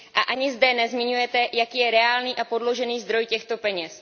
Ani zde nezmiňujete, jaký je reálný a podložený zdroj těchto peněz.